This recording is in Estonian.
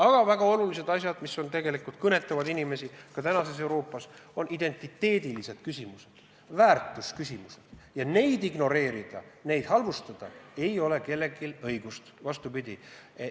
Aga väga olulised asjad, mis tegelikult kõnetavad inimesi tänases Euroopas, on identiteedi küsimused, väärtusküsimused ja neid ignoreerida, neid halvustada ei ole kellelgi õigust.